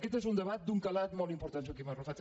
aquest és un debat d’un calat molt important joaquim arrufat